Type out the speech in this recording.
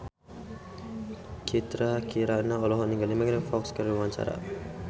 Citra Kirana olohok ningali Megan Fox keur diwawancara